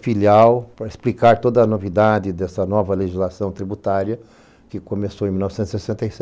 filial para explicar toda a novidade dessa nova legislação tributária que começou em mil novecentos e sessenta e sete.